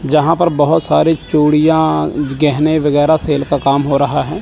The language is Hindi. जहां पर बहोत सारी चूड़ियां गहने वगैरह सेल का काम हो रहा है।